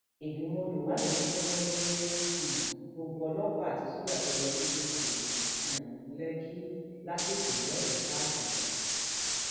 fúlàní darandaran ya um bo abúlé molege londo londo wọn yìnbọn pààyàn mẹta wọn tún dáná sun ọpọlọpọ ilé um